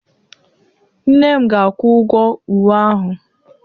Nne m ga-akwụ-ụgwo ụwe ahụ